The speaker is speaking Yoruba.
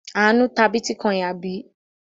Àánú ta bítíkọ́ìn, àbí?